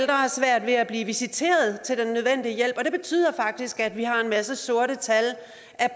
har svært ved at blive visiteret til den nødvendige hjælp og det betyder faktisk at vi har en masse sorte tal